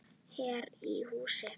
Hér í hús.